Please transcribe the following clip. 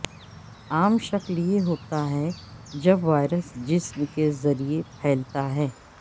عام شکل یہ ہوتا ہے جب وائرس جسم کے ذریعے پھیلتا ہے